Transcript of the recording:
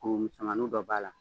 Ɔ musomannin dɔ b'a la.